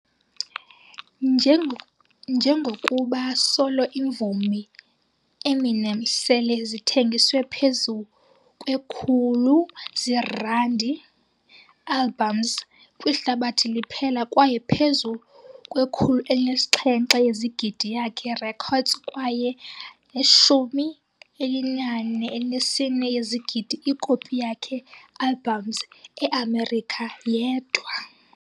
Njengokuba solo imvumi, Eminem sele zithengiswe phezu 100 zeerandi albums kwihlabathi liphela kwaye phezu 107 yezigidi yakhe recordings kwaye 44 yezigidi iikopi yakhe albums eamerika yedwa.